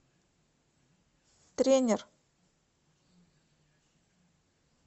тренер